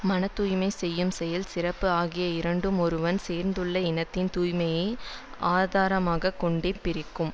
மன தூய்மை செய்யும் செயல் சிறப்பு ஆகிய இரண்டும் ஒருவன் சேர்ந்துள்ள இனத்தின் தூய்மையை ஆதாரமாக கொண்டே பிறக்கும்